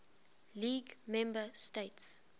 league member states